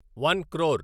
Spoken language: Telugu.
వన్ క్రోర్